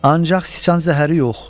Ancaq Si zəhəri yox.